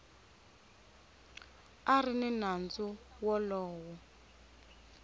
a ri ni nandzu wolowo